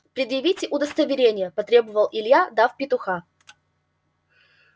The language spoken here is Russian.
предъявите удостоверение потребовал илья дав петуха